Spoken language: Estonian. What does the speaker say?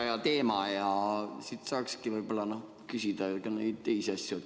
Väga hea teema ja siit saaks küsida ka teisi asju.